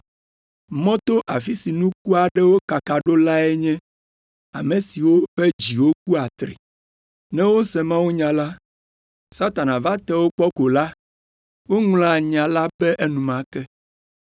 Mɔto, afi si nuku aɖewo kaka ɖo lae nye ame siwo ƒe dziwo ku atri. Ne wose mawunya la, Satana va te wo kpɔ ko la, woŋlɔa nya la be enumake.